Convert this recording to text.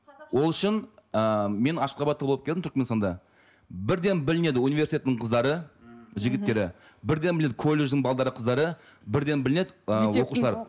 ол үшін ііі мен ашқабатта болып келдім түркіменстанда бірден білінеді университеттің қыздары жігіттері бірден білінеді колледждің қыздары бірден білінеді ы оқушылар